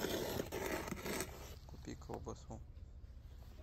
купи колбасу